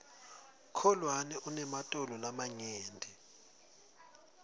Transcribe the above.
kholwane unematolo lamanyenti